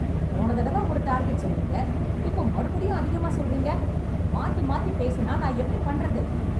போன தடவ ஒரு டார்கெட் சொன்னிங்க, இப்போ மறுபடியும் அதிகமா சொல்றீங்க ? மாத்தி மாத்திப் பேசுனா, நான் எப்படி பண்றது ?